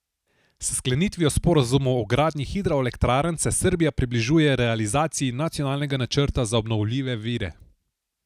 S sklenitvijo sporazumov o gradnji hidroelektrarn se Srbija približuje realizaciji nacionalnega načrta za obnovljive vire.